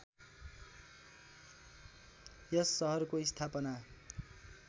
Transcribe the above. यस सहरको स्‍थापना